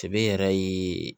Sebe yɛrɛ ye